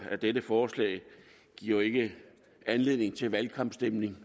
at dette forslag jo ikke giver anledning til valgkampstemning